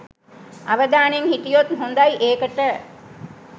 අවදානයෙන් හිටියොත් හොදයි ඒකට.